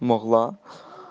могла